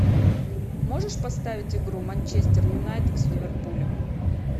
можешь поставить игру манчестер юнайтед с ливерпулем